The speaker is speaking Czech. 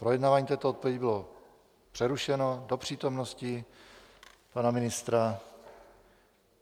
Projednávání této odpovědi bylo přerušeno do přítomnosti pana ministra.